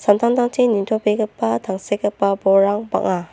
samtangtangchi nitobegipa tangsekgipa bolrang bang·a.